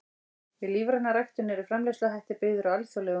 Við lífræna ræktun eru framleiðsluhættir byggðir á alþjóðlegum reglum.